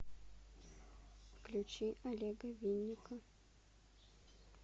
включи олега винника